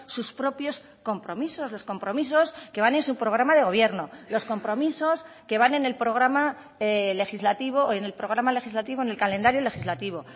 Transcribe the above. sus propios compromisos los compromisos que van en su programa de gobierno los compromisos que van en el programa legislativo en el programa legislativo en el calendario legislativo